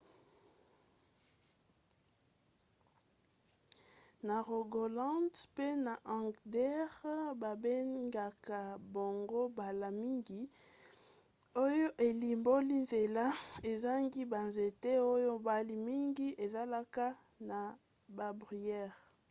na rogaland pe na agder babengaka bango mbala mingi hei oyo elimboli nzela ezangi banzete oyo mbala mingi ezalaka na babruyère